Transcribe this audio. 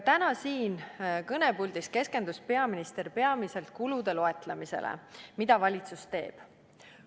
Täna siin kõnepuldis keskendus peaminister peamiselt kulude loetlemisele, mis valitsus teeb.